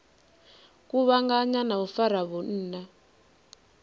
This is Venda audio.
kuvhanganya na u fara vhunna